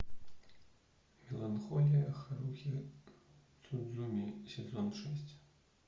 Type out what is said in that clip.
меланхолия харухи судзумии сезон шесть